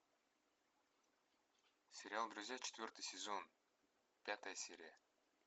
сериал друзья четвертый сезон пятая серия